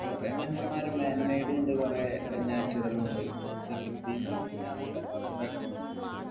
കൊറേ മനുഷ്യമ്മാരെ man made ഉ ഉണ്ട് കൊറേ പിന്നെ natural ന്നു ഉണ്ട് പ്രകൃതിന്നും പിന്നെ ഉണ്ട്